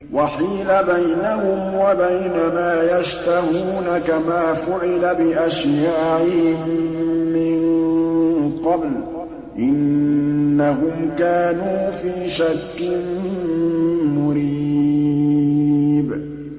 وَحِيلَ بَيْنَهُمْ وَبَيْنَ مَا يَشْتَهُونَ كَمَا فُعِلَ بِأَشْيَاعِهِم مِّن قَبْلُ ۚ إِنَّهُمْ كَانُوا فِي شَكٍّ مُّرِيبٍ